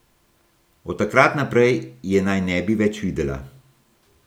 Od takrat naprej je naj ne bi več videla.